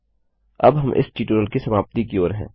अब हम इस ट्यूटोरियल की समाप्ति की ओर हैं